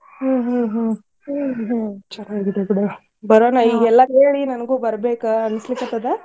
ಹ್ಮ್ ಹ್ಮ್ ಹ್ಮ್ ಹೋಗ್ಲಿ ಬಿಡವಾ ಬರಾನ್ ಈಗೆಲ್ಲರಿಗೂ ಹೇಳಿ ನಂಗು ಬರ್ಬೆಕ ಅನಸ್ಲಿಕತ್ತಾದ.